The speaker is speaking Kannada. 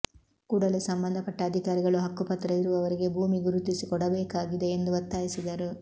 ಕೂಡಲೇ ಸಂಬಂಧ ಪಟ್ಟ ಅಧಿಕಾರಿಗಳು ಹಕ್ಕುಪತ್ರ ಇರುವವರಿಗೆ ಭೂಮಿ ಗುರುತಿಸಿ ಕೊಡಬೇಕಾಗಿದೆ ಎಂದು ಒತ್ತಾಯಿಸಿದರು